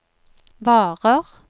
varer